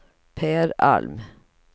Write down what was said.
Pär Alm